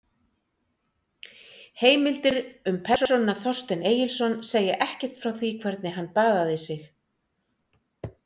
Heimildir um persónuna Þorstein Egilsson segja ekkert frá því hvernig hann baðaði sig.